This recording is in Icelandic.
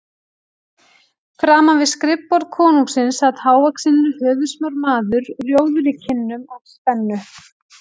Framan við skrifborð konungsins sat hávaxinn höfuðsmár maður, rjóður í kinnum af spennu.